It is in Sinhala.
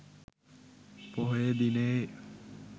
පොහොය දිනයේ